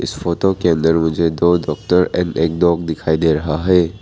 Photo के अंदर मुझे दो डॉक्टर एंड एक डॉग दिखाई दे रहा है।